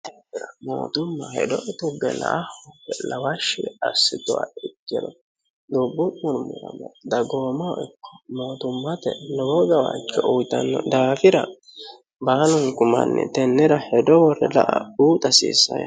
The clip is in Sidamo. mootumma hedo tugge la'a lawashshi assituha ikkino dubbu murmirame dagoomoo ikko mootummate lowoo gawaajjoo uyitanno daafira baalunku manni tennera hedo worre la'a buuxa hasiissanno.